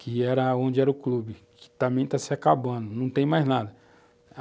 que era onde era o clube, que também está se acabando, não tem mais nada.